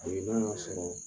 sɔrɔ